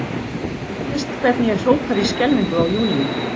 Og ég minnist hvernig ég hrópaði í skelfingu á Júlíu.